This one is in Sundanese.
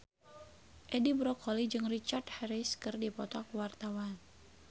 Edi Brokoli jeung Richard Harris keur dipoto ku wartawan